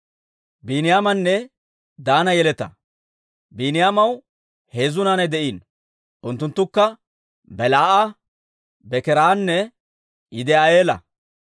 Biiniyaamaw heezzu naanay de'iino; unttunttukka Belaa'a, Bekeeranne Yidi'eela.